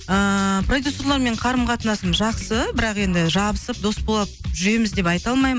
ыыы продюссерлермен қарым қатынасым жақсы бірақ енді жабысып дос болып жүреміз деп айта алмаймын